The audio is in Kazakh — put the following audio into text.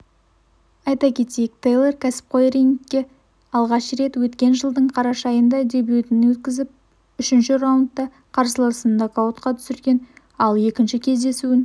айта кетейік тэйлор кәсіпқой рингте алғаш рет өткен жылдың қараша айында дебютін өткізіп үшінші раундта қарсыласын нокаутқа түсірген ал екінші кездесуін